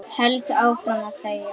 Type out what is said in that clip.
Held áfram að þegja.